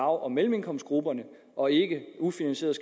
og mellemindkomstgrupperne og ikke ufinansierede